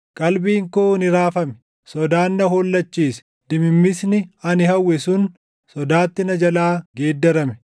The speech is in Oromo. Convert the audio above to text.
Qalbiin koo ni raafame; sodaan na hollachiise; dimimmisni ani hawwe sun sodaatti na jalaa geeddarame.